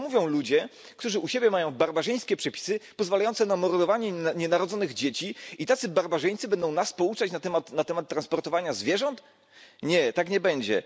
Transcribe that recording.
To mówią ludzie, którzy u siebie mają barbarzyńskie przepisy pozwalające na mordowanie nienarodzonych dzieci i tacy barbarzyńcy będą nas pouczać na temat transportowania zwierząt? Nie, tak nie będzie.